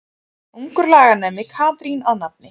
Ungur laganemi Katrín að nafni.